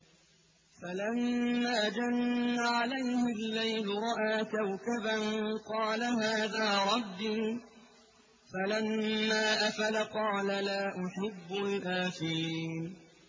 فَلَمَّا جَنَّ عَلَيْهِ اللَّيْلُ رَأَىٰ كَوْكَبًا ۖ قَالَ هَٰذَا رَبِّي ۖ فَلَمَّا أَفَلَ قَالَ لَا أُحِبُّ الْآفِلِينَ